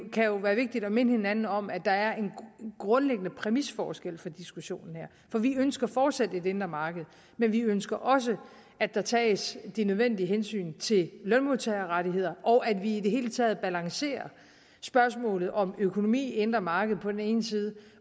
være vigtigt at minde hinanden om at der er en grundlæggende præmisforskel for diskussionen her for vi ønsker fortsat et indre marked men vi ønsker også at der tages de nødvendige hensyn til lønmodtagerrettigheder og at vi i det hele taget balancerer spørgsmålet om økonomi indre marked på den ene side